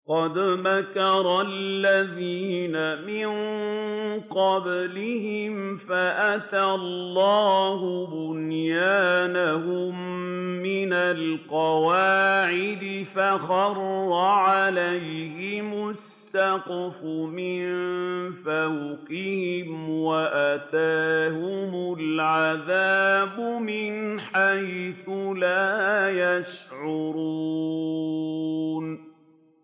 قَدْ مَكَرَ الَّذِينَ مِن قَبْلِهِمْ فَأَتَى اللَّهُ بُنْيَانَهُم مِّنَ الْقَوَاعِدِ فَخَرَّ عَلَيْهِمُ السَّقْفُ مِن فَوْقِهِمْ وَأَتَاهُمُ الْعَذَابُ مِنْ حَيْثُ لَا يَشْعُرُونَ